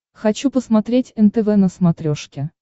хочу посмотреть нтв на смотрешке